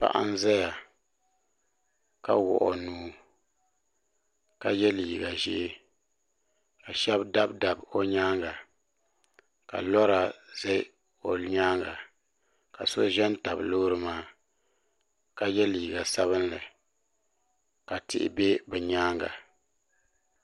paɣa n ʒɛya ka wuɣi o nuu ka yɛ liiga ʒiɛ ka shab dabi sabi o nyaanga ka lora ʒɛ o nyaanga ka so ʒɛ n tabi loori maa ka yɛ liiga sabinli ka tihi bɛ bi nyaanga